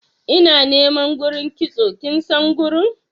ina niman gurin kitso kinsan gurin?